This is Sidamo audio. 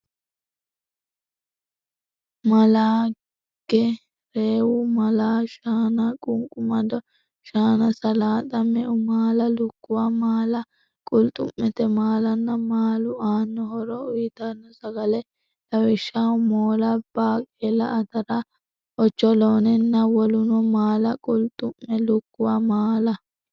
maala ge reewu maala shaana qunqumado shaana salaaxa meu maala lukkuwu maala qulxu mete maalanna maalu aanno horo uytanno sagale lawishshaho moola baaqeela atara ocholoonenna woluno maala qulxu me lukkuwu maala.